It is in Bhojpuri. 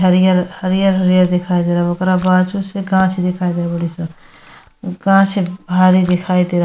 हरियर हरियर हरियर दिखाई दे रहल बा। ओकर बाजू से कांच दिखाई दे रहल बाड़ी सन। कांच भारी दिखाई दे रहल --